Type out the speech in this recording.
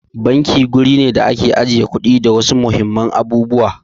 Banki wuri ne da ake ajiye kuɗi da wasu muhimman abubuwa.